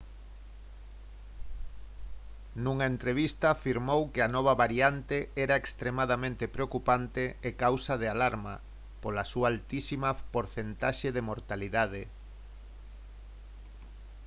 nunha entrevista afirmou que a nova variante era «extremadamente preocupante e causa de alarma pola súa altísima porcentaxe de mortalidade»